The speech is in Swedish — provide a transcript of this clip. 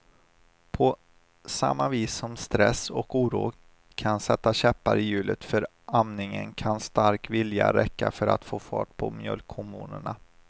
På samma vis som stress och oro kan sätta käppar i hjulet för amningen kan stark vilja räcka för att få fart på mjölkhormonerna.